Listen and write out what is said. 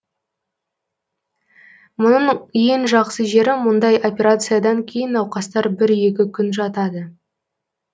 мұның ең жақсы жері мұндай операциядан кейін науқастар бір екі күн жатады